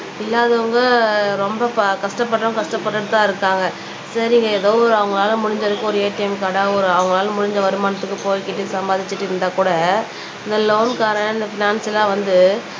இல்லாதவங்க ரொம்ப ப கஷ்டப்படறவங்க கஷ்டப்பட்டுட்டுதான் இருக்காங்க சரி ஏதோ ஒரு அவங்களால முடிஞ்ச அளவுக்கு ஒரு ATM கார்ட ஒரு அவங்களால முடிஞ்ச வருமானத்துக்கு போய்கிட்டு சம்பாதிச்சுட்டு இருந்தா கூட இந்த லோன்காரன் இந்த பினன்ஸ் எல்லாம் வந்து